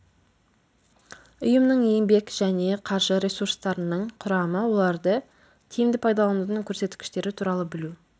ұйымның еңбек және қаржы ресурстарының құрамы оларды тиімді пайдаланудың көрсеткіштері туралы білу